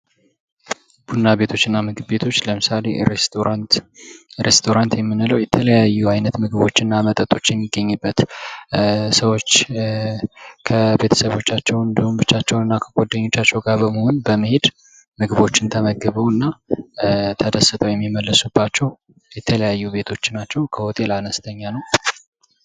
ቡና ቤቶችና ምግብ ቤቶች ለምሳሌ ሬስቶራንት፡- ሬስቶራንት የምንለው የተለያዩ አይነት ምግቦችና መጠጦች የሚገኝበት። ሰዎች ከቤተሰቦቻቸው እንዲሁም ብቻቸውንና ከጓደኞቻቸው ጋር በመሆን በመሄድ ምግቦችን ተመግበው ተደስተው የሚመለሱባቸው የተለያዩ ቤቶች ናቸው ከሆቴል አነስኛ ነው ።